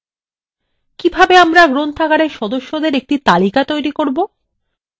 কিভাবে আমরা গ্রন্থাগারের সদস্যদের একটি তালিকা তৈরি করব